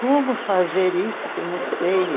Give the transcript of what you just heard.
Como fazer isso que eu não sei?